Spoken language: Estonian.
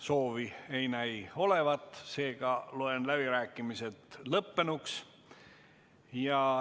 Soovi ei näi olevat, seega loen läbirääkimised lõppenuks.